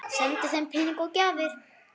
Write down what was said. Sendi þeim peninga og gjafir.